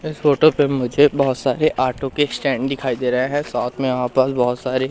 इस फोटो पे मुझे बहुत सारे ऑटो के स्टैंड दिखाई दे रहा है साथ में यहां पर बहुत सारे--